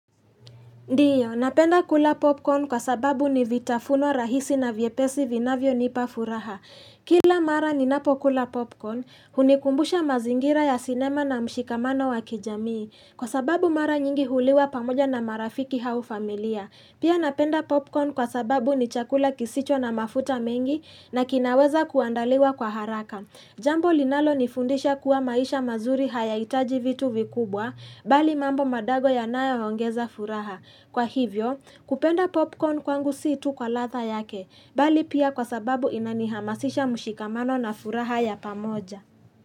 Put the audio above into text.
Ndio, napenda kula popcorn kwa sababu ni vitafuno rahisi na vyepesi vinavyo nipa furaha. Kila mara ninapo kula popcorn, hunikumbusha mazingira ya sinema na mshikamano wa kijamii. Kwa sababu mara nyingi huliwa pamoja na marafiki au familia. Pia napenda popcorn kwa sababu ni chakula kisicho na mafuta mengi na kinaweza kuandaliwa kwa haraka. Jambo linalo nifundisha kuwa maisha mazuri hayahitaji vitu vikubwa, bali mambo madogo yanayo ongeza furaha. Kwa hivyo, kupenda popcorn kwangu si tu kwa ladha yake, bali pia kwa sababu inanihamasisha mshikamano na furaha ya pamoja.